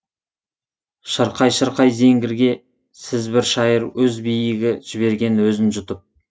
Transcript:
шырқай шырқай зеңгірге сіз бір шайыр өз биігі жіберген өзін жұтып